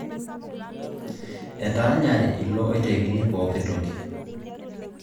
Etaanyare ilo oitekini pooki toki